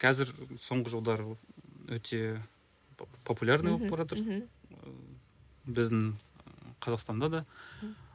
қазір соңғы жылдары өте популярный болып баратыр мхм ы біздің ы казақстанда да